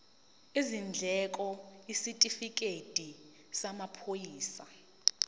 izindleko isitifikedi samaphoyisa